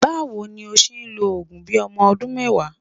Báwo ni ó ṣe ń lo òògùn bí ọmọ ọdún mẹ́wàá?